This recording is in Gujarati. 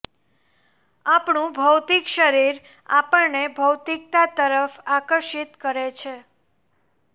આપણું ભૌતિક શરીર આપણને ભૌતિકતા તરફ આકર્ષિત કરે છે